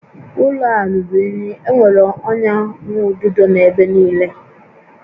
Ụlọ a ruru unyi, enwere ọnya nwaududo n'ebe niile